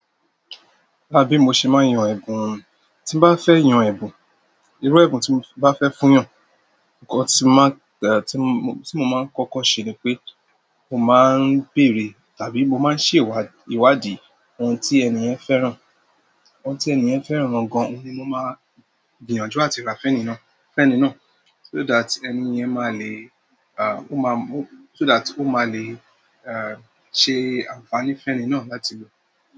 Lá bí mo ṣe máa yan ẹ̀bùn, tí n bá fẹ́ yan ẹ̀bùn, irú ẹ̀bùn tí n bá fẹ́ fún yàn, nǹkan tí máa-- tí mo máa kọ́kọ́ ṣe ni pé mo máa ń bèèrè tàbí mo máa ń ṣèwá ìwádìí ohun tí ènìyen fẹ́ràn, ohun tí ènìyen fẹ́ràn gangan oun ni mo máa gbìyànjú àti ra fẹ́ni náà, fẹ́ni náà so that ènìyàn máa le, ah, ó máa, ó, so that ó máa le, ah, ṣe ànfàní fẹ́ni náà láti lò.